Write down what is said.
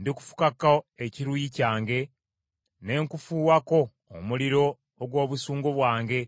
Ndikufukako ekiruyi kyange, ne nkufuuwako omuliro ogw’obusungu bwange,